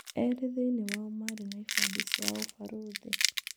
Erĩ thĩinĩĩ wao marĩ na ibandĩ cia ũbarũthi.